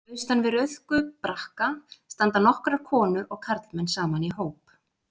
Austan við Rauðku brakka standa nokkrar konur og karlmenn saman í hóp.